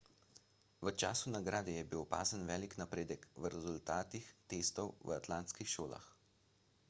v času nagrade je bil opazen velik napredek v rezultatih testov v atlantskih šolah